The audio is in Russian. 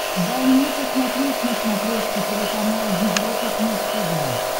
дай мне посмотреть на смотрешке телеканал европа плюс тв